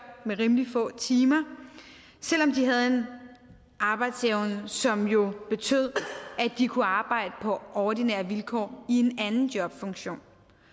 med rimelig få timer selv om de havde en arbejdsevne som jo betød at de kunne arbejde på ordinære vilkår i en anden jobfunktion